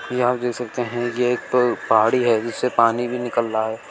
यहां देख सकते है एक प पहाड़ी है जिससे पानी भी निकल रहा है।